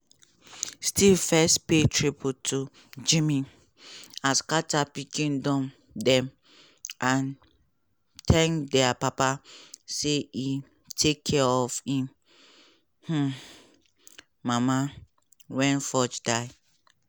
steve first pay tribute to jimmy um carter pikin dem and thank dia papa say e take care of im um mama wen ford die.